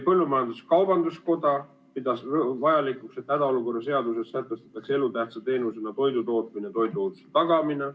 Põllumajandus-kaubanduskoda pidas vajalikuks, et hädaolukorra seaduses sätestatakse elutähtsa teenusena toidutootmine ja toiduohutuse tagamine.